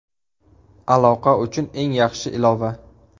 Aloqa uchun eng yaxshi ilova.